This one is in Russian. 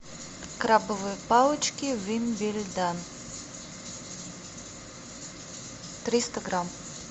крабовые палочки вимм билль данн триста грамм